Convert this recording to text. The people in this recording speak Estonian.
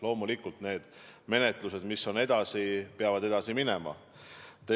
Loomulikult, need menetlused, mis lähevad edasi, peavad edasi minema.